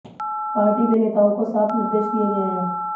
party में नेताओं को साफ निर्देश दिए गए हैं